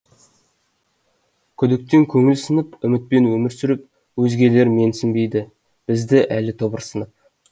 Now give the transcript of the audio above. күдіктен көңіл сынып үмітпен өмір сүріп өзгелер менсінбейді бізді әлі тобырсынып